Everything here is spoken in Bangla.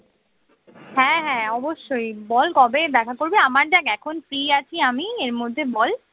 হ্যাঁ হ্যাঁ অবশ্যই বল কবে দেখা করবি আমার দেখ এখন free আছি আমি এর মধ্যে বল